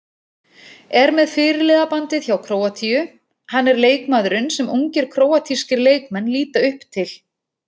Er með fyrirliðabandið hjá Króatíu, hann er leikmaðurinn sem ungir króatískir leikmenn líta upp til.